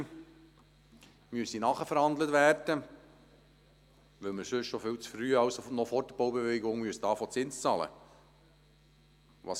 Man müsse hier Nachverhandlungen vornehmen, weil wir sonst viel zu früh, also noch vor der Baubewilligung Zins bezahlen müssten.